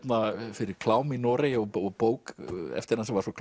fyrir klám í Noregi og bók bók eftir hann sem var svo